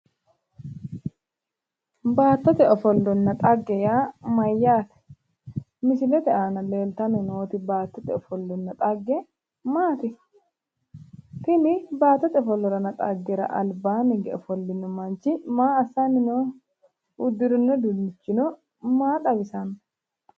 Baattote ofollonna xagge yaa mayyaate? Misilete aana leeltanni nooti baattote ofollonna xagge maati? Tini baattote ofollonna xaggera albaanni higge ofolle noo manchi maa assanni nooho? Uddirino uduunnichino maa xawisanno.